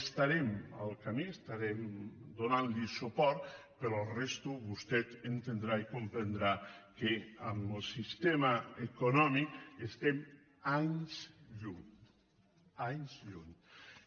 estarem al camí estarem donant li suport però a la resta vostè entendrà i comprendrà que en el sistema econòmic estem a anys llum a anys llum